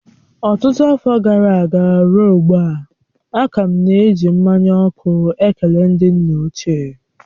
Ọtụtụ afọ gara aga ruo ugbu a, a ka na-eji mmanya ọkụ ekele ndị nna ochie